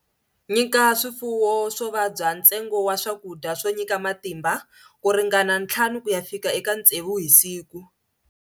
Nyika swifuwo swo vabya ntsengo wa swakudya swo nyika matimba ku ringana 5-6 hi siku.